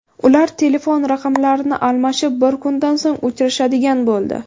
Ular telefon raqamlarini almashib, bir kundan so‘ng uchrashadigan bo‘ldi.